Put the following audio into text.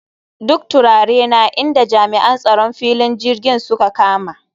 Duk turarena inda jami'an tsaron filin jirgin suka kama